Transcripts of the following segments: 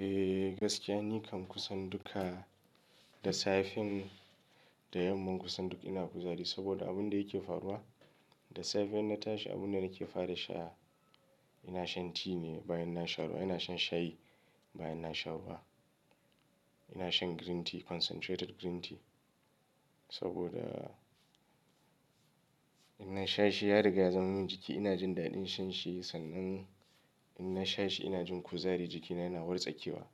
Eh gaskiya ni kam kusan duka da safe da yamma kusan duk ina kuzari saboda abun da yake faruwa. Da safe in na tashi abun da nake fara sha, ina shan ti ne bayan na sha ruwa ina shan shayi bayan na sha ruwa. Ina shan green tea concentrated green tea saboda in na sha shi ya riga zan min jiki ina jin daɗin shan shi sannan in na sha shi ina jin kuzari jikina yana wartsakewa.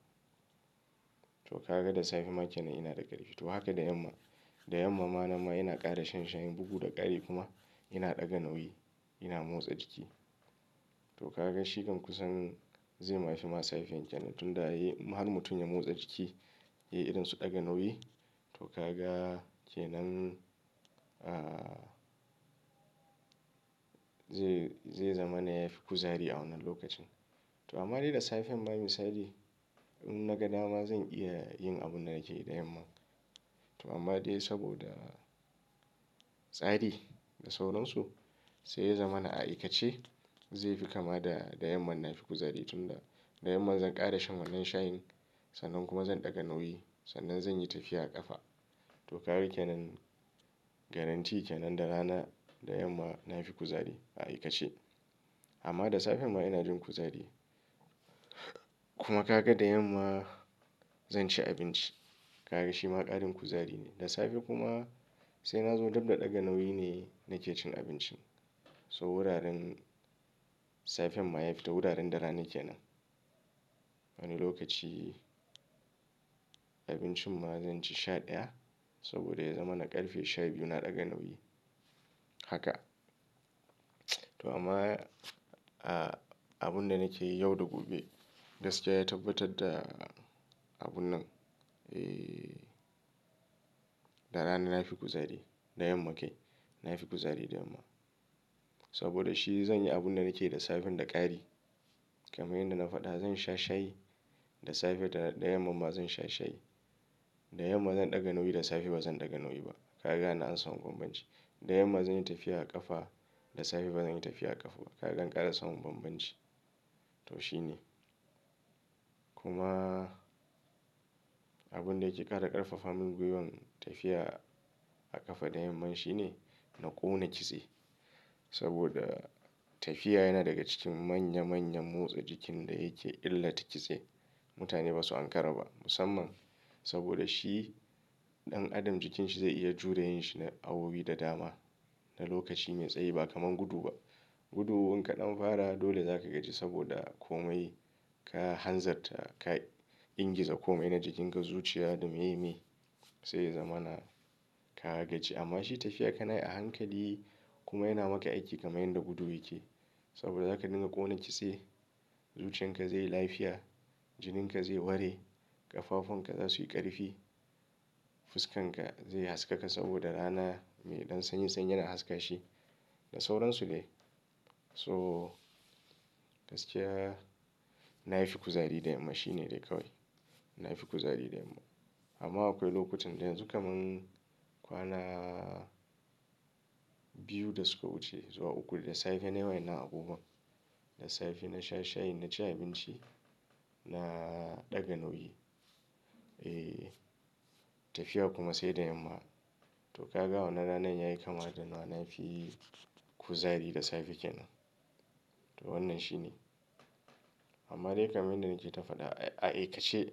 Toh ka ga da safe ma kenan ina da ƙarfi. Toh haka da yamma, da yamma ma nan ma ina ƙara shan shayin, bugu da ƙari kuma ina ɗaga nauyi ina motsa jiki. Toh ka ga shi kan kusan zai ma fi ma safe kenan tunda har mutum ya motsa jiki, ya yi irin su ɗaga nauyi to ka ga kenan, zai zamana yafi kuzari a wannan lokacin. Toh ka ga shi kan kusan zai ma fi ma safe kenan tunda har mutum ya motsa jiki, ya yi irin su ɗaga nauyi to ka ga kenan, Toh ka ga shi kan kusan zai ma fi ma safe kenan tunda har mutum ya motsa jiki, ya yi irin su ɗaga nauyi to ka ga kenan, zai zamana yafi kuzari a wannan lokacin. Toh amma dai saboda tsari da sauransu, zai zama na aikace zai fi kama da da yamma na fi kuzari tunda da yamma zan ƙara shan wannan shayin sannan kuma zan ɗaga nauyi sannan zan yi tafiya a ƙafa. Da safe kuma sai na zo dab da ɗaga nauyi ne nake cin abincin. So wuraren safe ma ya fita wuraren da rana kenan. Wani lokaci abincin ma zan ci sha ɗaya, saboda ya zama na ƙarfe sha biyu na ɗaga nauyi haka. Toh amma abun da nake yi yau da gobe gaskiya ya tabbatar da abun nan. Eh da rana na fi kuzari, da yamma kai na fi kuzari da yamma. Saboda shi zan yi abun da nake yi da safe da ƙari, kamar yadda na faɗa zan sha shayi da safe da yamma ma zan sha shayi. Da yamma zan ɗaga nauyi da safe ba zan ɗaga nauyi ba. Ka ga nan an samu bambanci. Da yamma zan yi tafiya a ƙafa da safe ba zan yi tafiya a ƙafa ba. Ka ga an ƙara samun bambanci. To shi ne. Kuma abun da yake ƙara ƙarfafa min gwiwan tafiya a ƙafa da yamma shi ne na ƙona kitse saboda tafiya yana daga cikin manya manyan motsa jikin da yake illata kitse. Mutane ba su ankara ba musamman. Saboda shi ɗan adam jikinsa zai iya jure yin shi na awowi da dama na lokaci mai tsayi ba kamar gudu ba. Gudu in ka ɗan fara dole zaka gaji saboda komai. Ka hanzarta ka ingiza komai na jikinka zuciya da meye me zai zama na ka gaji. Amma shi tafiya ka na yi a hankali kuma yana maka aiki kamar yadda gudu yake. Saboda zaka dinga ƙona kitse, zuciyan ka zai yi lafiya, jinin ka zai ware, ƙafafon ka za su yi ƙarfi, fuskan ka zai haskaka saboda rana mai ɗan sanyi sanyi yana haska shi da sauransu dai. So gaskiya na fi kuzari da yamma shi ne dai kawai. Na yi fi kuzari da yamma. Amma akwai lokutan da yanzu kamar kwana biyu da suka wuce zuwa uku da safe nayi wayannan abubuwa. Da safe na sha shayi, na ci abinci na ɗaga nauyi. Eh tafiya kuma sai da yamma. Toh ka ga a wannan rana yayi kama da nama na fi kuzari da safe kenan. To wannan shi ne. Amma dai kamar yadda nake ta faɗa a aikace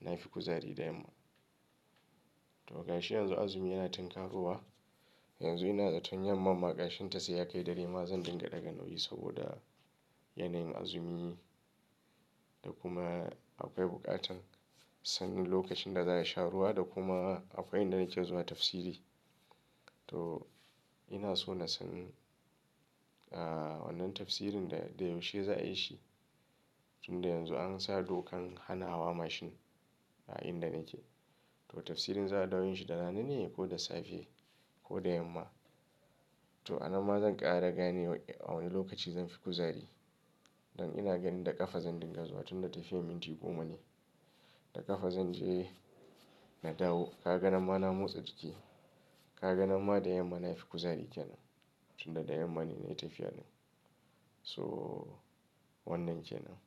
na fi kuzari da yamma. Toh gashi yanzu azumi yana tunkaro wa. Yanzu ina zaton yamma ma ƙashen ta sai ya kai dare ma zan dinga ɗaga nauyi saboda yanayin azumi ne. Da kuma akwai buƙatar sanin lokacin da za a sha ruwa da kuma akwai inda nake zuwa tafsiri. To ina so na san wannan tafsirin da yaushe za a yi shi tunda yanzu an sa dokan hana hawa mashin a inda nake. Toh tafsirin za a dawo yin shi da rana ne ko da safe ko da yamma. Toh a nan ma zan ƙara gane a wani lokaci zan fi kuzari. Don ina ganin da ƙafa zan dinga zuwa tunda tafiyar minti goma ne. Da ƙafa zan je na dawo. Ka ga nan ma na motsa jiki. Ka ga nan ma da yamma na fi kuzari kenan tunda da yamma ne na yi tafiya din. So wannan kenan.